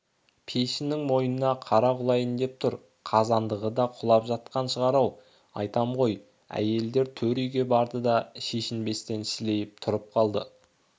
пешінің мойнына қара құлайын деп тұр қазандығы да құлап жатқан шығар-ау айтам ғой әйелдер төр үйге барды да шешінбестен сілейіп тұрып қалды